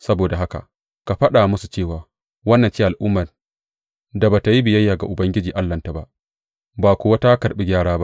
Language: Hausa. Saboda haka ka faɗa musu cewa, Wannan ce al’ummar da ba tă yi biyayya ga Ubangiji Allahnta ba, ba kuwa ta karɓi gyara ba.